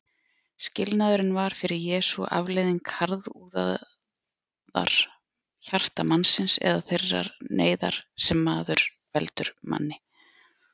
Skilnaðurinn var fyrir Jesú afleiðing harðúðar hjarta mannsins eða þeirrar neyðar sem maður veldur manni.